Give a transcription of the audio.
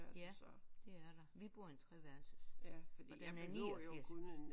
Ja det er der. Vi bor i en treværelses fordi den er 89